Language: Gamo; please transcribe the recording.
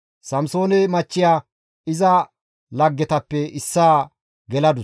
Samsoone machchiya iza laggetappe issaa geladus.